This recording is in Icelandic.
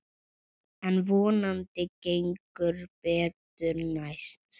En vonandi gengur betur næst.